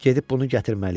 Gedib bunu gətirməliyəm.